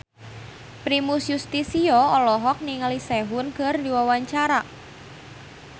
Primus Yustisio olohok ningali Sehun keur diwawancara